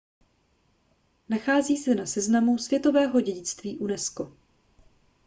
nachází se na seznamu světového dědictví unesco